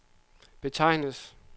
betegnes